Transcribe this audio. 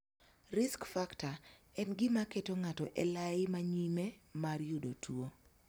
'Risk factor' en gima keto ng'ato elai ma nyime mar yudo tuo.